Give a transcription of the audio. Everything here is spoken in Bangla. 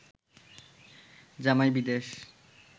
জামাই বিদেশ